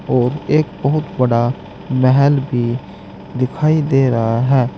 और एक बहुत बड़ा महल भी दिखाई दे रहा है।